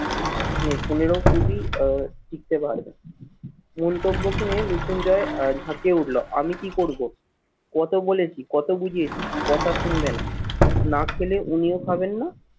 পনেরো কুড়ি আহ টিকতে পারবে। মন্তব্য শুনে মৃত্যুঞ্জয় ধাঁকিয় উঠলো আমি কি করবো? কত বলেছি? কত বুঝেছি কথা শুনবে না। না খেলে উনিও খাবেন না